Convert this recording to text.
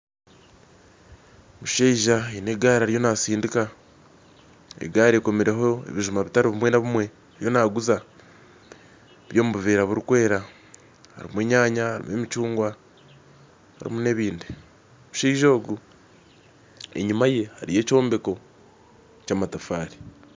Omushaija aine egari ariyo nasindika egari ekomerweho ebijuma ebitari bimwe na bimwe ariyo naguza biri omu buvera burikwera harimu enyanya harimu emicunguwa harimu na ebindi omushaija ogu enyuma ye hariyo ekyombeko kyamatafaare